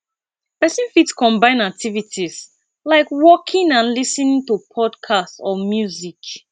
person fit combine activities like walking and lis ten ing to podcast or music